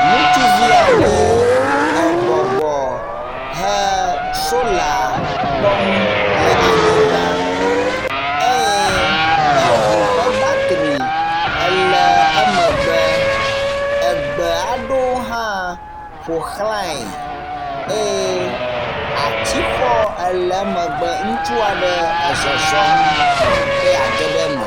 Ŋutsuvi aɖe ebɔbɔ he sola kpɔm le anyigba eye eŋu ƒe batri le emegbe. Egbe aɖewo hã ƒo xlae eye atsixɔ le emegbe. Ŋutsu aɖe ezɔzɔm be yeage ɖe eme.